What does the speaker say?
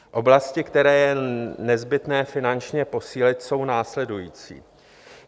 Oblasti, které je nezbytné finančně posílit, jsou následující.